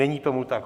Není tomu tak.